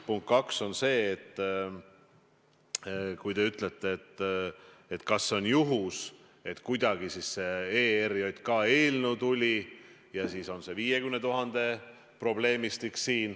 Punkt kaks on see: te küsite, kas on juhus, et kuidagi see ERJK eelnõu tuli ja siin on parasjagu see 50 000 probleemistik.